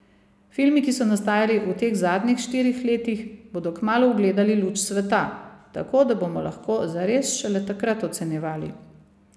Filmi, ki so nastajali v teh zadnjih štirih letih, bodo kmalu ugledali luč sveta, tako da bomo lahko zares šele takrat ocenjevali.